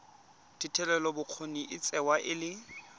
thetelelobokgoni e tsewa e le